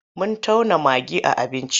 Mun tauna magi a abinci.